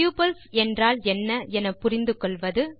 tuples என்றால் என்ன என புரிந்து கொள்வது